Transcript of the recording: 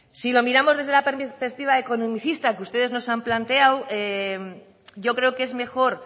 si lo miramos desde la perspectiva economicista que ustedes nos han planteado yo creo que es mejor